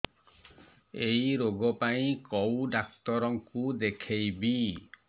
ଏଇ ରୋଗ ପାଇଁ କଉ ଡ଼ାକ୍ତର ଙ୍କୁ ଦେଖେଇବି